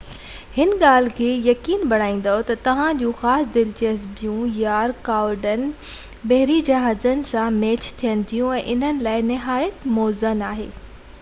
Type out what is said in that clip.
هن ڳالهہ کي يقيني بڻائيدو تہ توهان جون خاص دلچسپيون/يا رڪاوٽون بحري جهاز سان ميچ ٿين ٿيون ۽ انهن لاءِ نهايت موزون آهي